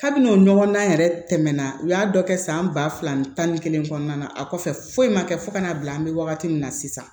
Hali n'o ɲɔgɔn dan yɛrɛ tɛmɛna u y'a dɔ kɛ san ba fila ni tan ni kelen kɔnɔna na a kɔfɛ foyi ma kɛ fo ka n'a bila an be wagati min na sisan